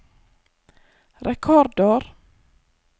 rekordår